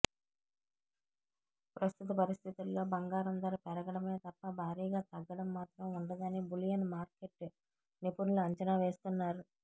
ప్రస్తుత పరిస్థితుల్లో బంగారం ధర పెరగడమే తప్ప భారీగా తగ్గడం మాత్రం ఉండదని బులియన్ మార్కెట్ నిపుణులు అంచనా వేస్తున్నారు